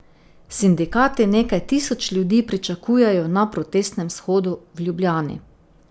Sindikati nekaj tisoč ljudi pričakujejo na protestnem shodu v Ljubljani.